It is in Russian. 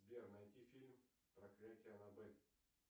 сбер найти фильм проклятие аннабель